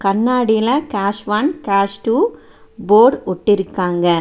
கண்ணாடில cash one cash two board ஒட்டி இருக்காங்க.